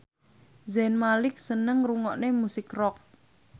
Zayn Malik seneng ngrungokne musik rock